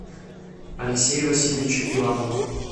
алексею васильевичу иванову